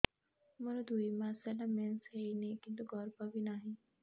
ମୋର ଦୁଇ ମାସ ହେଲା ମେନ୍ସ ହେଇନି କିନ୍ତୁ ଗର୍ଭ ବି ନାହିଁ